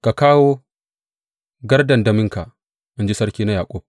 Ka kawo gardandaminka, in ji Sarki na Yaƙub.